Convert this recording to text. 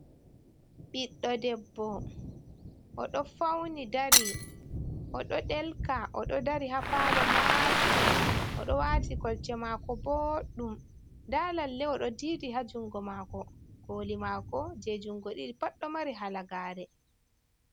Ɓiɗɗo debbo, o ɗo fauni dari oɗo ɗelka oɗo dari ha palo maatuɗum odo wati kolte mako booɗum, nda lalle oɗo dii di ha jungo mako, koli mako je jungo ɗiɗi pat ɗo mari halagari.